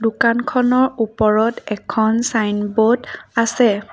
দোকানখনৰ ওপৰত এখন ছাইনবোৰ্ড আছে।